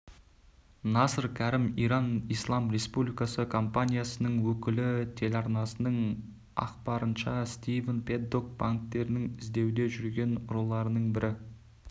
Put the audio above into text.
насыр кәрім иран ислам республикасы компаниясының өкілі телеарнасының ақпарынша стивен пэддок банктерінің іздеуде жүрген ұрыларының бірі